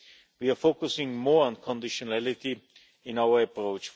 We are focusing more on conditionality in our approach.